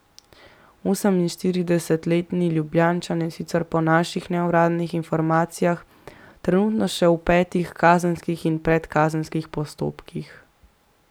Oseminštiridesetletni Ljubljančan je sicer po naših neuradnih informacijah trenutno še v petih kazenskih in predkazenskih postopkih.